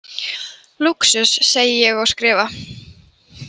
Lúxus, segi ég og skrifa.